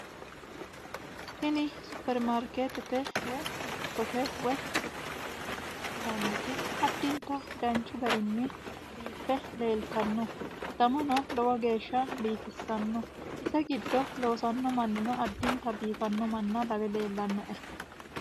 tini supermarkeetete woy dikkote woy, yinanniti addinta danchu garinni biiffe leeltanno danano lowo geeshsha biifissanno ise giddi loosanno manni addintanni biifannoha lawe leellannoe